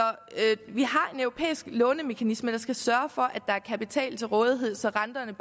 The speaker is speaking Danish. vi har en europæisk lånemekanisme der skal sørge for at er kapital til rådighed så renterne